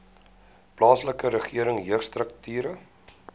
plaaslike regering jeugstrukture